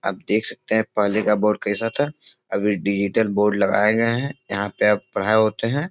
आप देख सकते हैं पहले का बोर्ड कैसा था। अभी डिजिटल बोर्ड लगाये गए हैं। यहाँ पे अब पढ़ाई होते हैं।